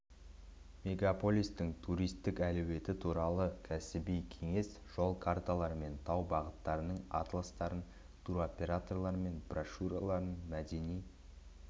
мегаолистің туристік әлеуеті туралы кәсіби кеңес жол карталары мен тау бағыттарының атластарын туроператорлар брошюраларын мәдени